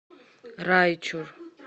райчур